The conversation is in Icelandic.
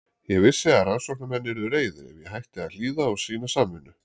Ég vissi að rannsóknarmenn yrðu reiðir ef ég hætti að hlýða og sýna samvinnu.